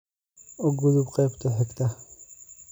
u gudub qaybta xigta